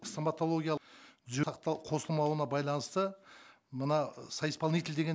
стоматологиялық сақтау қосылмауына байланысты мына соисполнитель деген